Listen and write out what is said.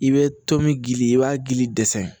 I bɛ to min gili i b'a gili dɛsɛ